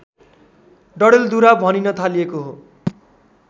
डडेलधुरा भनिन थालिएको हो